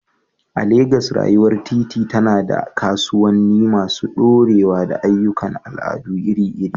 A Legas, rayuwar titi tana da kasuwanni masu ɗorewa da ayyukan al'adu iri-iri.